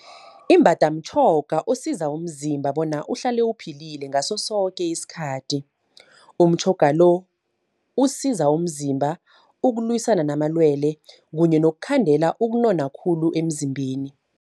Imbada mtjhoga osiza umzimba, bona uhlale uphilile ngaso soke iskhathi. Umtjhoga lo, usiza umzimba ukulwisana namalwele kanye nokukhandela ukunona khulu emzimbeni.